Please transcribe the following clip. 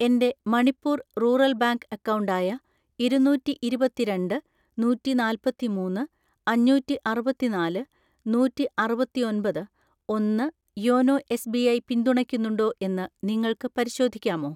എൻ്റെ Manipur rural bank account ആയ ഇരുന്നൂറ്റിഇരുപത്തിരണ്ട്‍ നൂറ്റിനാല്പത്തിമൂന്ന് അഞ്ഞൂറ്റിഅറുപത്തിനാല് നൂറ്റിഅറുപത്തിഒൻപത് ഒന്ന് യോനോ എസ്.ബി.ഐ പിന്തുണയ്ക്കുന്നുണ്ടോ എന്ന് നിങ്ങൾക്ക് പരിശോധിക്കാമോ?